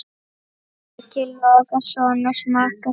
Breki Logason: Og smakkast vel?